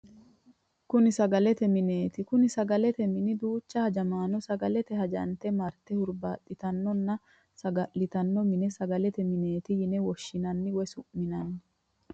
Kuni sagalete mineti, kuni sagalete mine duucha hajamanno sagalete hajante marite huribaxitanonna saga'litanno mine sagalete mineeti yine woshinanni woyi su'minanni